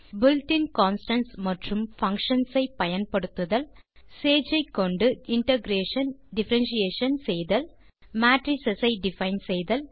built இன் constants மற்றும் functions ஐ பயன்படுத்துதல் சேஜ் ஐ கொண்டு இன்டகிரேஷன் டிஃபரன்ஷியேஷன் செய்தல் மேட்ரிஸ் ஐ டிஃபைன் செய்தல்